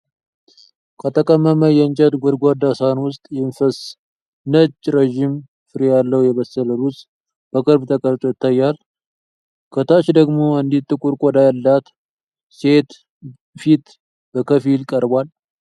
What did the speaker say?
ከተቀመመ የእንጨት ጎድጓዳ ሳህን ውስጥ የሚፈስ ነጭ፣ ረዥም ፍሬ ያለው የበሰለ ሩዝ በቅርብ ተቀርጾ ይታያል። ከታች ደግሞ አንዲት ጥቁር ቆዳ ያላት ሴት ፊት በከፊል ቀርቧል።